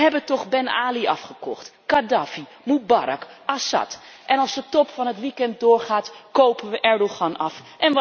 We hebben toch Ben Ali afgekocht, Gaddafi, Moebarak, Assad en als de top van het weekend doorgaat kopen we Erdoğan af.